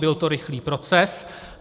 Byl to rychlý proces.